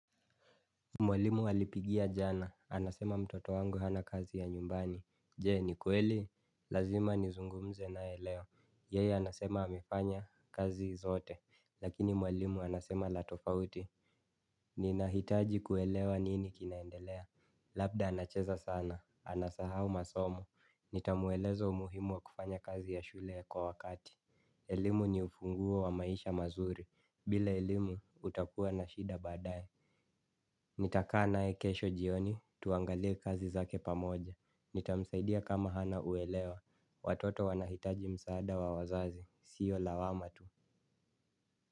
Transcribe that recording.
Mwalimu alipigia jana, anasema mtoto wangu hana kazi ya nyumbani, jee ni kweli, lazima nizungumze nae leo, yei anasema amefanya kazi zote, lakini mwalimu anasema la tofauti. Ninahitaji kuelewa nini kinaendelea, labda anacheza sana, anasahau masomo, nitamweleza umuhimu wa kufanya kazi ya shule kwa wakati. Elimu ni ufunguo wa maisha mazuri, bila elimu utakua na shida baadaye. Nitakaa naye kesho jioni, tuangalia kazi zake pamoja. Nitamsaidia kama hana uelewa. Watoto wanahitaji msaada wa wazazi, sio lawama tu.